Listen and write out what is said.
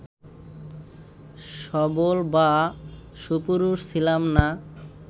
সবল বা সুপুরুষ ছিলাম না